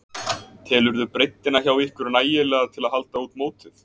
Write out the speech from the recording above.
Telurðu breiddina hjá ykkur nægilega til að halda út mótið?